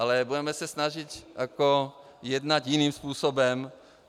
Ale budeme se snažit jednat jiným způsobem.